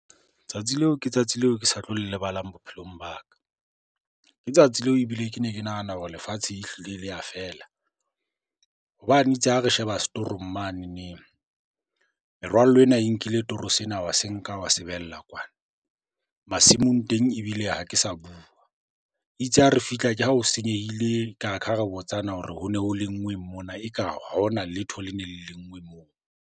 Tsatsi leo ke tsatsi leo ke sa tlo lebalang bophelong ba ka. Ke tsatsi leo ebile ke ne ke nahana hore lefatshe ehlile le ya fela hobane itse ha re sheba setorong manene, merwallo ena e nkile toro sena wa se nka wa se behella kwana. Masimong teng ebile ha ke sa bua, itse ha re fihla ke ha o senyehile Kha re botsana hore ho ne ho lenngweng mona eka ha hona letho le neng lenngwe moo.